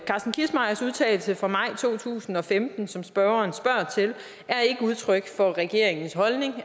carsten kissmeyers udtalelse fra maj to tusind og femten som spørgeren spørger til er ikke udtryk for regeringens holdning